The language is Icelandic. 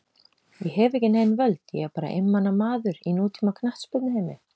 Ég hef ekki nein völd, ég er bara einmana maður í nútíma knattspyrnuheimi.